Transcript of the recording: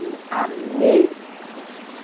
Eu amei ser professora.